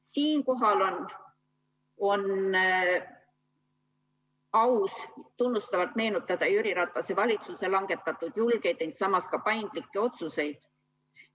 Siinkohal on aus tunnustavalt meenutada Jüri Ratase valitsuse langetatud julgeid, ent samas ka paindlikke otsuseid.